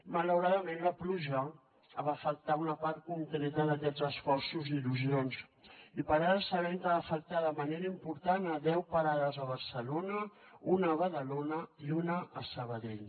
malauradament la pluja va afectar una part concreta d’aquests esforços i il·lusions i per ara sabem que va afectar de manera important deu parades a barcelona una a badalona i una a sabadell